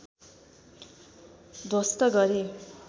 ध्वस्त गरे